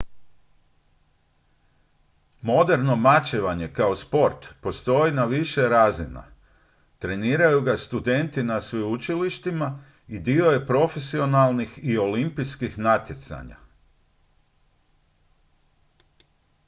moderno mačevanje kao sport postoji na više razina treniraju ga studenti na sveučilištima i dio je profesionalnih i olimpijskih natjecanja